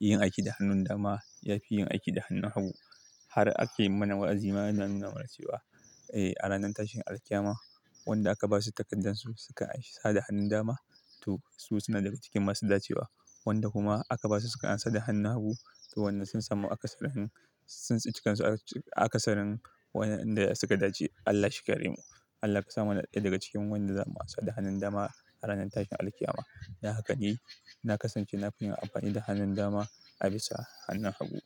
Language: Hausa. yin aiki da hannun dama yafi yin aiki da hannun hagu. Har aka yi mana wa'azima ana nuna mana cewa, eh a ranar tashin alƙyama wanda aka basu takardun su suka amsa da hannun dama, to su suna daga cikin masu dacewa. Wanda kuma aka basu suka amsa da hannun hagu to wannan sun samu akasarin, sun tsinci kansu akasarin wayanda suka dace. Allah shi kare mu. Allah kasa muna ɗaya daga cikin wanda za mu amsa da hannun dama a ranar tashin alƙyama. Don haka dai, na kasance na fi yin amfani da hannun dama a bisa hannun hagu.